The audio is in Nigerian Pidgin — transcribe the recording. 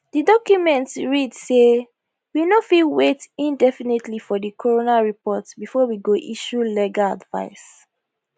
di document read say we no fit wait indefinitely for di coroner report before we go issue legal advice